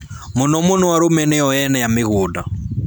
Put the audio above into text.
Mũno mũno arũme nĩ o ene a mĩgũnda